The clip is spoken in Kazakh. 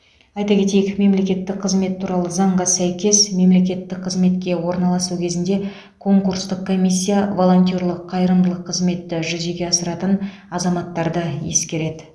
айта кетейік мемлекеттік қызмет туралы заңға сәйкес мемлекеттік қызметке орналасу кезінде конкурстық комиссия волонтерлік қайырымдылық қызметті жүзеге асыратын азаматтарды ескереді